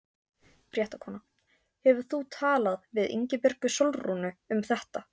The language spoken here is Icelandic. Fréttakona: Hefur þú talað við Ingibjörgu Sólrúnu um þetta?